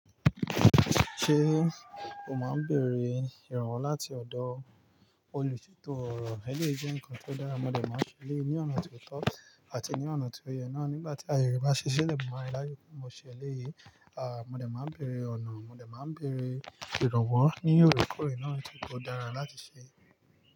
Ṣé o máa ń bèrè ìrànwọ́ láti ọ̀dọ̀ olùṣètò ọ̀rọ̀? Ẹlẹ́yi jẹ́ nǹkan ti ó dára, mo dè máa n se eleéyi ní ọ̀nà ti ó tọ́ àti ní ọ̀nà tí ó yẹ náà. Nígbà tí ayẹ rẹ bá ṣí ṣi lè mú rá áàyè tí mo ṣe eléyìí, mo dè máa ń bèrè ọ̀nà, mo dè máa ń bèrè ìrànwọ́ ní òrekoore ná nitori pe ò dára láti ṣe.